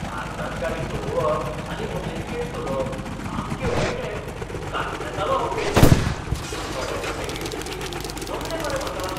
भारतांत गाडी चलोवप आनी अमेरीकेंत चलोवप सामकें वेगळें म्हूण कांचवेतालों हांव पयलीं, पूण थोडे धडे घेतकीर जमलें मरे म्हाका!